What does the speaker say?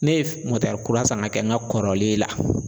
Ne ye kura san ka kɛ n ka kɔrɔlen la